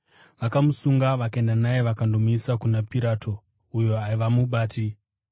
Vakamusunga, vakaenda naye vakandomuisa kuna Pirato uyo aiva mubati.